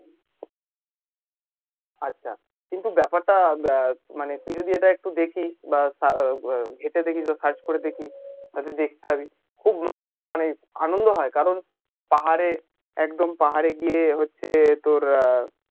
আচ্ছা কিন্তু ব্যাপারটা মানে তুই যদি এটা একটু দেখিস বা net এ দেখিস বা search করে দেখিস তা তুই দেখতে পাবি খুব মানে আনন্দ হয় কারণ পাহাড়ে একদম পাহাড়ে গিয়ে হচ্ছে তোর